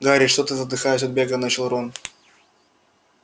гарри что ты задыхаясь от бега начал рон